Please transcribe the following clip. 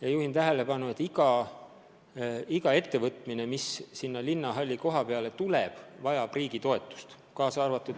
Ma juhin tähelepanu sellele, et ükskõik, mis sinna linnahalli koha peale tuleb, see ettevõtmine vajab riigi toetust.